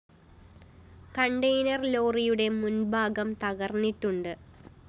container ലോറിയുടെ മുന്‍ഭാഗം തകര്‍ന്നിട്ടുണ്ട്